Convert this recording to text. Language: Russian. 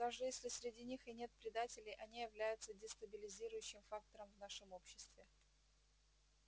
даже если среди них и нет предателей они являются дестабилизирующим фактором в нашем обществе